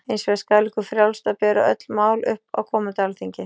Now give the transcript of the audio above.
Hins vegar skal ykkur frjálst að bera öll mál upp á komandi alþingi.